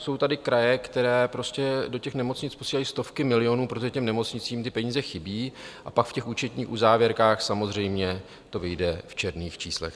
Jsou tady kraje, které prostě do těch nemocnic posílají stovky milionů, protože těm nemocnicím ty peníze chybí, a pak v těch účetních uzávěrkách samozřejmě to vyjde v černých číslech.